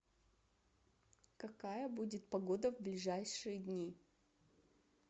какая будет погода в ближайшие дни